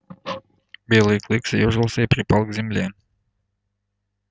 белый клык съёжился и припал к земле